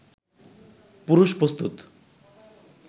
পুরুষ প্রস্তুত